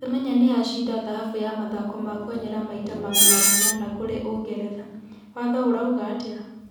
Semenya nĩ acinda thahabu ya mathako ma kwenyera mita magana manana kũrĩa ũngeretha, watho ũrauga atĩa?